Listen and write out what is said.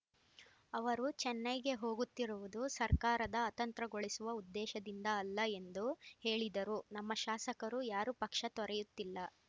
ಅವರು ಚೆನ್ನೈಗೆ ಹೋಗುತ್ತಿರುವುದು ಸರ್ಕಾರದ ಅತಂತ್ರಗೊಳಿಸುವ ಉದ್ದೇಶದಿಂದ ಅಲ್ಲ ಎಂದು ಹೇಳಿದರು ನಮ್ಮ ಶಾಸಕರು ಯಾರೂ ಪಕ್ಷ ತೊರೆಯುತ್ತಿಲ್ಲ